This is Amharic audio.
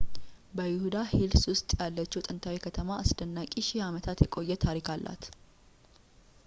በይሁዳ ሂልስ ውስጥ ያለችው ጥንታዊት ከተማ አስደናቂ ሺህ አመታት የቆየ ታሪክ አላት